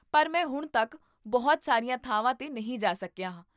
ਪਰ ਮੈਂ ਹੁਣ ਤੱਕ ਬਹੁਤ ਸਾਰੀਆਂ ਥਾਵਾਂ 'ਤੇ ਨਹੀਂ ਜਾ ਸਕਿਆ ਹਾਂ